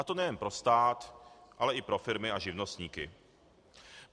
A to nejen pro stát, ale i pro firmy a živnostníky.